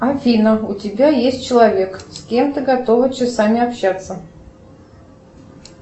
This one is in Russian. афина у тебя есть человек с кем ты готова часами общаться